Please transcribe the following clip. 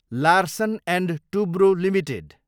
Larsen and Toubro limited